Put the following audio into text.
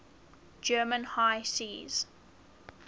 german high seas